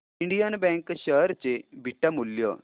Indian bank share चे beta मूल्य